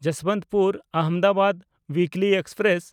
Yesvantpur-Ahmedabad ᱩᱭᱤᱠᱞᱤ express